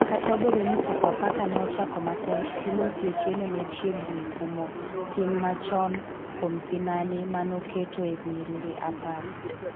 kata obedo ni Sofapaka ne ochako matek Timothy Otieno ne chiegni kumo tim machon kuom sinani mano oketo e nyiriri apar